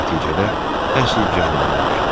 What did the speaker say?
Nəticədə əsl cəhənnəmə düşdüm.